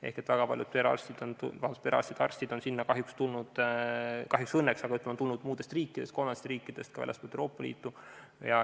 Ehk väga paljud perearstid ja arstid on sinna kahjuks või õnneks tulnud muudest riikidest, kolmandatest riikidest, ka väljastpoolt Euroopa Liitu.